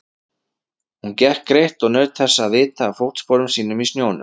Hún gekk greitt og naut þess að vita af fótsporum sínum í snjónum.